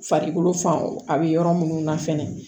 Farikolo fan a bɛ yɔrɔ minnu na fɛnɛ